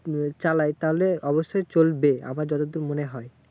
নিয়ে চালাই তাহলে, অবশ্যই চলবে আমার যতদূর মনে হয়।